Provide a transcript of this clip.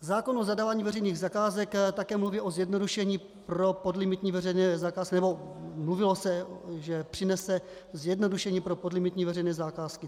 Zákon o zadávání veřejných zakázek také mluví o zjednodušení pro podlimitní veřejné zakázky, nebo mluvilo se, že přinese zjednodušení pro podlimitní veřejné zakázky.